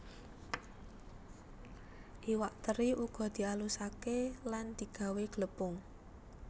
Iwak teri uga dialuské lan digawé glepung